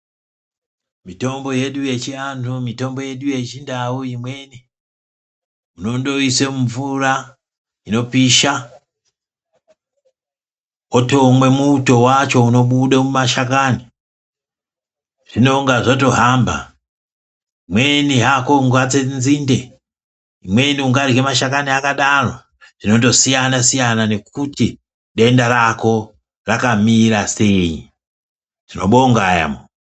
Mitombo yedu yechianhu ,mitombo yedu yechindau, imweni unondoise mumvura inopisha wotomwe muto wacho unobude mumashakani zvinonga zvato hamba, imweni hako ungatse nzinde ,imweni ungarye mashakani akadaro zvinondosiyana nekuti denda rako rakamira sei. Tinobonga yaamho.